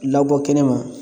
Labɔ kɛnɛma